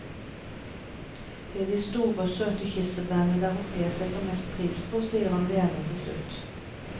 Det er de store og søte kirsebærene der oppe jeg setter mest pris på, sier han leende til slutt.